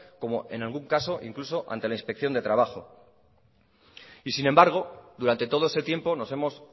como en algún caso incluso ante la inspección de trabajo y sin embargo durante todo ese tiempo nos hemos